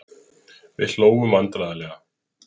Við hlógum vandræðalega.